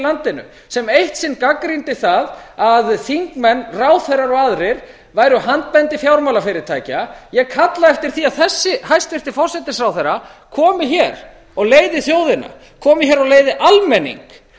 landinu sem eitt sinn gagnrýndi það að þingmenn ráðherrar og aðrir væru handbendi fjármálafyrirtækja ég kalla eftir því að þessi hæstvirtur forsætisráðherra komi hér og leiði þjóðina komi hér og leiði almenning